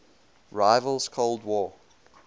rival's cold war